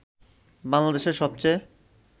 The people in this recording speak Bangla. বাংলাদেশের সবচেয়ে